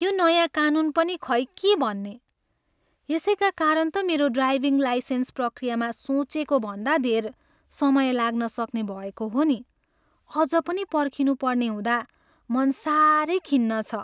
यो नयाँ कानुन पनि खै के भन्ने? यसैका कारण त मेरो ड्राइभिङ लाइसेन्स प्रक्रियामा सोचेको भन्दा धेर समय लाग्नसक्ने भएको हो नि। अझ पनि पर्खनुपर्ने हुँदा मन साह्रै खिन्न छ।